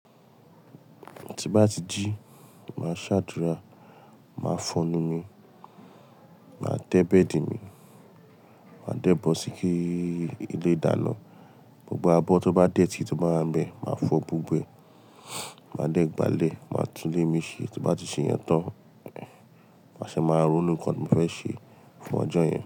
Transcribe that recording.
Tí bá ti jí, màá ṣàdúrà, màá fọnu mí, màá tẹ́ bed mi, màá dẹ́bọ̀ síké ilé ìdáná, gbogbo abọ́ tó bá detí tó bá ń bẹ, màá fọ́ gbogbo e, màá dẹ́gbálẹ̀, màá tún lé mi ṣe tí bá ti ṣe yẹn tán, màá ṣe máa rúnú nǹkan mi fẹ́ ṣe fún ọjọ́ yẹn.